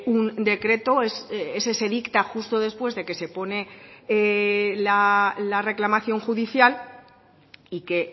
un decreto ese se dicta justo después de que se pone la reclamación judicial y que